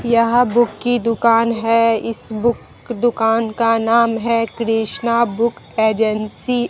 यह बुक की दुकान है इस बुक दुकान का नाम है कृष्णा बुक एजेंसी ।